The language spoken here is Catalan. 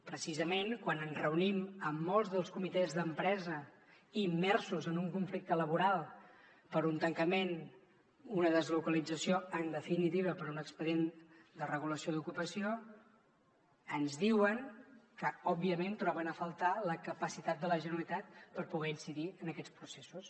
precisament quan ens reunim amb molts dels comitès d’empresa immersos en un conflicte laboral per un tancament una deslocalització en definitiva per un expedient de regulació d’ocupació ens diuen que òbviament troben a faltar la capacitat de la generalitat per poder incidir en aquests processos